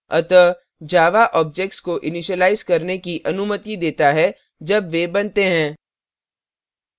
अतः java objects को initialise करने की अनुमति देता है जब वे बनते हैं